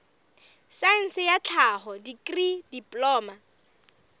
saense ya tlhaho dikri diploma